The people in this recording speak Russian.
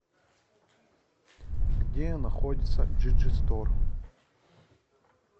где находится джиджистор